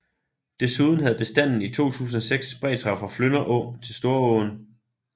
Desuden havde bestanden i 2006 spredt sig fra Flynder Å til Storåen